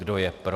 Kdo je pro?